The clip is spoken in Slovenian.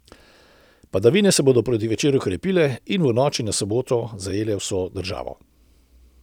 Padavine se bodo proti večeru krepile in v noči na soboto zajele vso državo.